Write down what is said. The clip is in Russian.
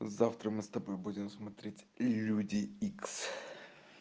завтра мы с тобой будем смотреть люди икс